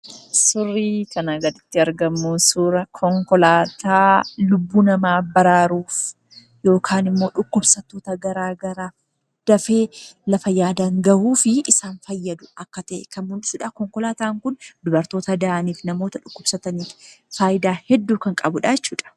Suurri kanaa gaditti argamu suuraa konkolaataa lubbuu namaa baraaruuf yookaan immoo dhukkubsattoota garaagaraa dafee lafa yaadan ga'uuf isaan fayyadu akka ta'e kan mul'isuudha. Konkolaataan kun dubartoota da'aniif namoota dhukkubsataniif faayidaa hedduu kan qabuu dha jechuu dha.